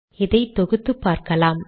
இதை தொகுத்து பார்க்கலாம்